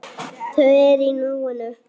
Þau eru í núinu.